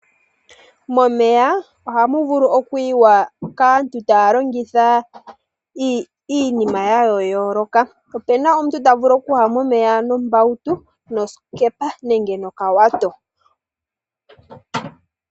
Momeya ohamu vulu okuyiwa kaantu taa longitha iinima ya yooloka. Opuna omuntu ta vulu okuya momeya nombautu , nosikepa, nenge nowato.